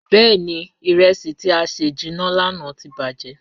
Bẹẹni, iresi ti a sẹ jinna lana ti bajẹ.